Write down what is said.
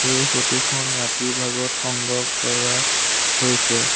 এই ফটো খন ৰাতিৰ ভাগত সংগ্ৰহ কৰা হৈছে।